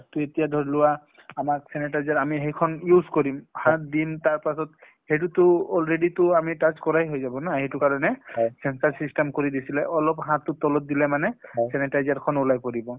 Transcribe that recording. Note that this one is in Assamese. তেতিয়া ধৰি লোৱা আমাক sanitizer আমি সেইখন use কৰিম হাত দিম তাৰ পাছত সেইটোতো already টো আমি touch কৰাই হৈ যাব ন সেইটো কাৰণে sensor system কৰি দিছিলে । অলপ হাতটো তলত দিলে মানে sanitizer খন ওলাই পৰিব ।